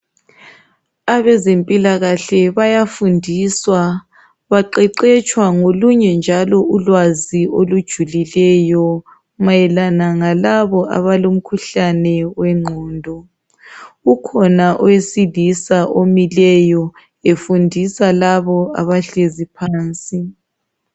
Abezempilakahle bayafundiswa. Baqeqetshwa ngolunye njalo ulwazi olujulileyo mayelana ngalabo abalomkhuhlane wengqondo. Kukhona owesilisa omileyo efundisa labo abahlezi phansi.